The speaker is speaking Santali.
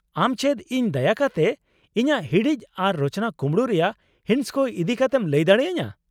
ᱟᱢ ᱪᱮᱫ ᱤᱧ ᱫᱟᱭᱟ ᱠᱟᱛᱮ ᱤᱧᱟᱹᱜ ᱦᱤᱲᱤᱡ ᱟᱨ ᱨᱚᱪᱚᱱᱟ ᱠᱩᱢᱲᱩ ᱨᱮᱭᱟᱜ ᱦᱤᱸᱥ ᱠᱚ ᱤᱫᱤ ᱠᱟᱛᱮᱢ ᱞᱟᱹᱭ ᱫᱟᱲᱮ ᱟᱹᱧᱟᱹ ?